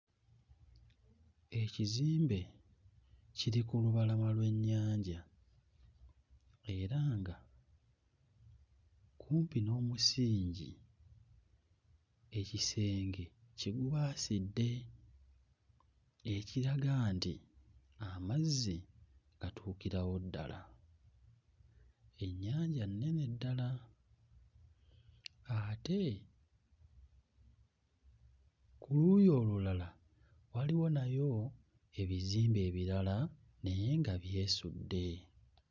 Ekizimbe kiri ku lubalama lw'ennyanja era nga kumpi n'omusingi ekisenge kigubaasidde ekiraga nti amazzi gatuukirawo ddala. Ennyanja nnene ddala ate ku luuyi olulala waliwo nayo ebizimbe ebirala naye nga byesudde.